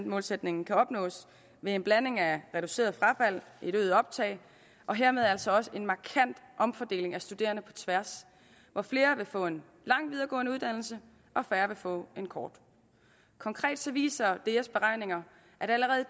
målsætningen kan opnås ved en blanding af reduceret frafald et øget optag og hermed altså også en markant omfordeling af studerende på tværs hvor flere vil få en lang videregående uddannelse og færre vil få en kort konkret viser deas beregninger at allerede